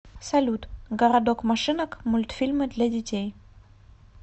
салют городок машинок мультфильмы для детей